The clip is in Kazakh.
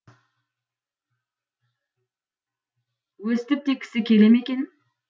өстіп те кісі келе ме екен